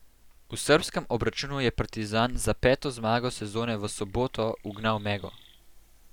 V srbskem obračunu je Partizan za peto zmago sezone v soboto ugnal Mego.